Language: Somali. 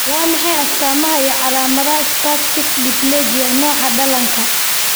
Waa maxay astamaha iyo calaamadaha Spastic diplegia nooca dhallaanka?